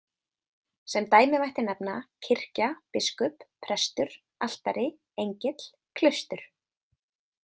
Sem dæmi mætti nefna kirkja, biskup, prestur, altari, engill, klaustur.